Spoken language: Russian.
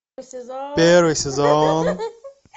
первый сезон